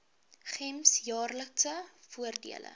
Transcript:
gems jaarlikse voordele